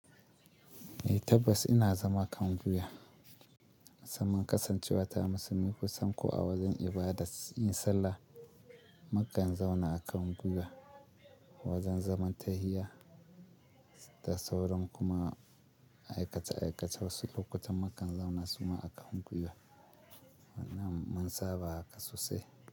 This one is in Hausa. Eh tabbas ina zama kan guiya. Musamman kasancewa ta musulmi, kusan ko a wajen ibadat yin sallah, mukan zauna a kan guyuwa. Wajen zaman tahiya da sauran kuma aikace aikace wasu lokutan mukan zauna suma a kan guyuwa. Wannan mun saba haka sosai.